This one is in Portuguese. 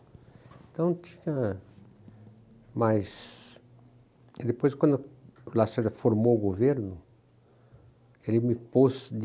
Então tinha... Mas... Depois, quando o Lacerda formou o governo, ele me pôs de...